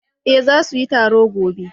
eh za su yi taro gobe